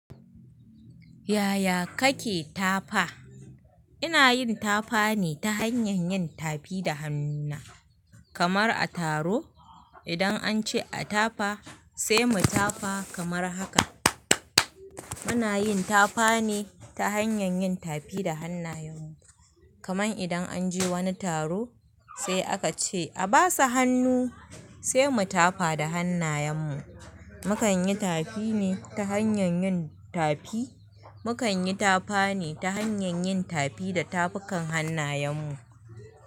Yaya kake tafa? Ina yin tapa ne ta hanyan yin tapi da hannuna, kamar a taro idan an ce a tapa sai mu tafa kamar haka. Muna yin tafa ne ta hanyan yin tafi da hannayen mu. Kaman idan an je wani taro sai aka ce a basa hannu sai mu tafa da hannayen mu. Mukan yi tafi ne ta hanyan yin tapi. Mukan yi tafa ne ta hanyar yin tafi da tafukan hannayen mu.